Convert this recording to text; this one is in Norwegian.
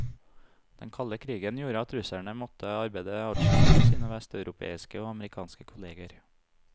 Den kalde krigen gjorde at russerne måtte arbeide adskilt fra sine vesteuropeiske og amerikanske kolleger.